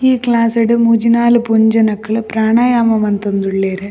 ಈ ಕ್ಲಾಸ್ ಡ್ ಮೂಜಿ ನಾಲ್ ಪೊಂಜೊನಕ್ಲ್ ಪ್ರಾಣಯಾಮ ಮಂತೊಂದುಳ್ಳೆರ್.